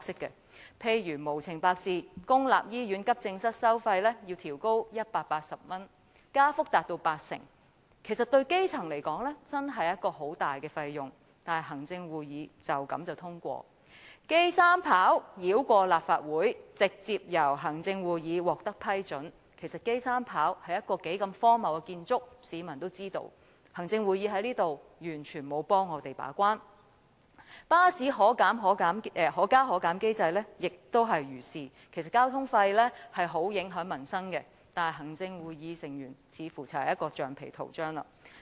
例如，公立醫院急症室收費無緣無故獲建議調高至180元，加幅達八成，對基層而言，確實是一大筆費用，但行會就這樣便通過了；香港國際機場三跑道系統的建議繞過立法會，直接獲行會批准，其實機場三跑是何等荒謬的建築，市民都知道，行會在此完全沒有替我們把關；巴士可加可減機制亦如是，其實交通費極影響民生，但行會成員似乎是一枚橡皮圖章。